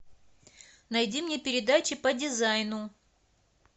найди мне передачи по дизайну